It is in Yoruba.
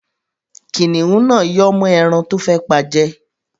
Kìnnìún náà yọ́ mọ́ ẹran tó fẹ́ pa jẹ.